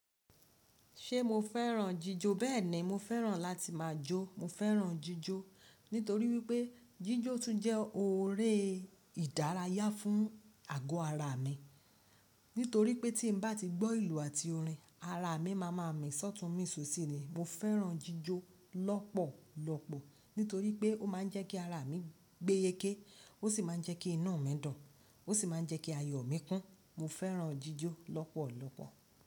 Ṣé mo fẹ́ràn jíjó? Bẹ́ẹ̀ni, mo fẹ́ràn láti máa jó. Mo fẹ́ràn jíjó nítorí wípé jíjó tún jẹ́ oun ere ìdárayá fún àgọ́ ara mi. Nítorí pé tí n bá ti gbọ́ ìlù àti orin, ara mi máa ma mísọ́tún mísosí ni. Mo fẹ́ràn jíjó lọ́pọ̀lọpọ̀ nítorí pé ó máa ń jẹ́ kí ara mi gbé yéké ó sì máa ń jẹ́ kí inu mi dun ó sì máa ń jẹ́ kí ayọ̀ mi kún. Mo fẹ́ràn jíjó lọ́pọ̀lọpọ̀